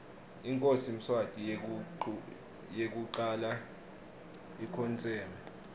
inkhosi mswati yekucala ikhotseme